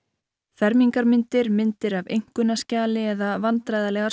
fermingarmyndir myndir af einkunnaskjali eða vandræðalegar